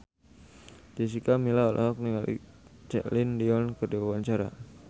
Jessica Milla olohok ningali Celine Dion keur diwawancara